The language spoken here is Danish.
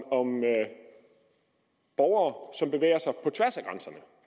borgere som